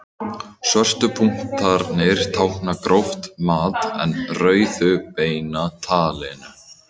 Svörtu punktarnir tákna gróft mat en rauðu beina talningu.